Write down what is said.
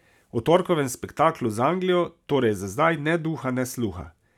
O torkovem spektaklu z Anglijo torej za zdaj ne duha ne sluha.